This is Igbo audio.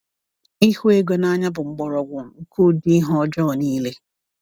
Ịhụ ego n’anya bụ mgbọrọgwụ nke ụdị ihe ọjọọ niile.